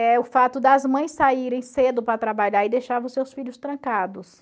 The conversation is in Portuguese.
É o fato das mães saírem cedo para trabalhar e deixavam seus filhos trancados.